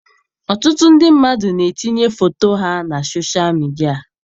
Ọtụtụ ndị mmadụ na-etinye foto ha na soshal midia.